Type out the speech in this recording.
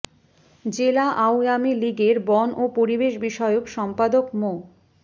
জেলা আওয়ামী লীগের বন ও পরিবেশ বিষয়ক সম্পাদক মো